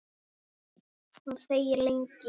Hún þegir lengi.